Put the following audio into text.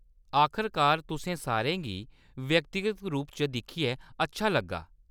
आखरकार तुसें सारें गी व्यक्तिगत रूप च दिक्खियै अच्छा लग्गा ।